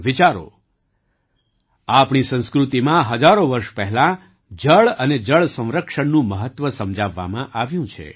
વિચારો આપણી સંસ્કૃતિમાં હજારો વર્ષ પહેલાં જળ અને જળ સંરક્ષણનું મહત્ત્વ સમજાવવામાં આવ્યું છે